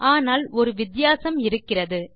ஆனால் ஒரு வித்தியாசம் இருக்கிறது